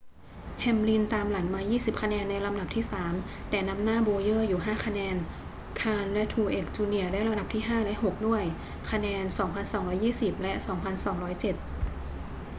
แฮมลินตามหลังมา 20 คะแนนในลำดับที่สาม แต่นำหน้าโบว์เยอร์อยู่ 5 คะแนน คาห์นและทรูเอกซ์ จูเนียร์ได้ลำดับที่ห้าและหกด้วยคะแนน 2,220 และ 2207